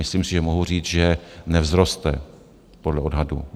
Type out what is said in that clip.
Myslím si, že mohu říct, že nevzroste podle odhadu.